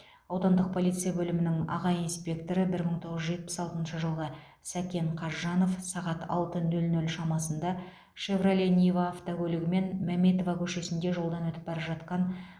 аудандық полиция бөлімінің аға инспекторы бір мың тоғыз жүз жетпіс алтыншы жылғы сәкен қазжанов сағат алты нөл нөл шамасында шевроле нива автокөлігімен мәметова көшесінде жолдан өтіп бара жатқан